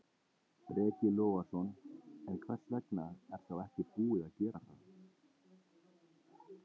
Breki Logason: En hvers vegna er þá ekki búið að gera það?